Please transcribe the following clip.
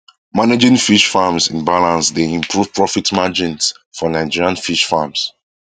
managing fish farms in balance dey improve profit margins for nigerian fish farms